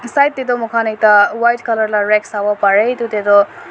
side tae toh moi khan ekta white colour la rag sawo parae edu tae toh--